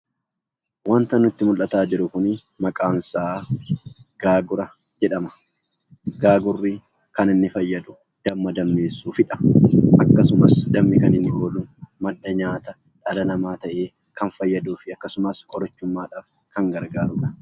Waanti nutti mul'ataa jiru kun maqaan isaa gaagura jedhama. Gaagurri kan inni fayyadu damma dammeessuufiidha. Akkasumas dammi kan inni ooluuf madda nyaataa dhala namaa ta'ee kan fayyaduufi akkasumas qorichummaadhaaf kan gargaaruudha.